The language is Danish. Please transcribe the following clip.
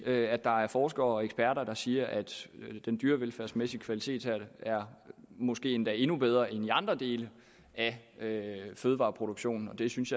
at der er forskere og eksperter der siger at den dyrevelfærdsmæssige kvalitet måske endda er endnu bedre end i andre dele af fødevareproduktionen jeg synes